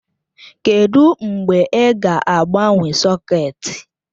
Kedụ mgbe ị ga-agbanwe sọ̀két?